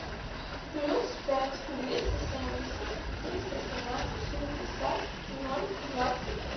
плюс пять двести семьдесят триста семнадцать шестьдесят ноль двадцать